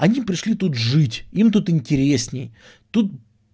они пришли тут жить им тут интересней тут